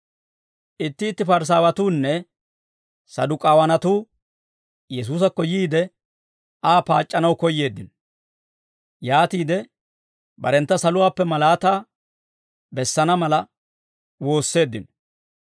Itti itti Parisaawatuunne Saduk'aawanatuu Yesuusakko yiide, Aa paac'c'anaw koyyeeddino; yaatiide barentta saluwaappe malaataa bessana mala woosseeddino.